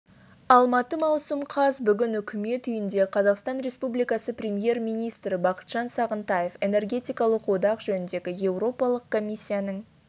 алматы маусым қаз бүгін үкімет үйінде қазақстан республикасы премьер-министрі бақытжан сағынтаев энергетикалық одақ жөніндегі еуропалық комиссияның